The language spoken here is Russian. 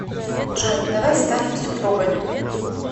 джой давай станем супругами